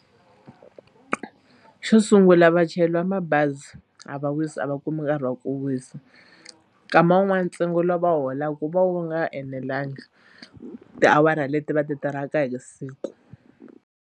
Xo sungula vachayeri va mabazi a va wisi a va kumi nkarhi wa ku wisa nkama wun'wani ntsengo lowu va holaka wu va u nga enelangi tiawara leti va ti tirhaka hi siku.